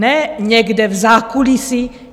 Ne někde v zákulisí.